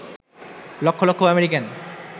লক্ষ লক্ষ আমেরিকান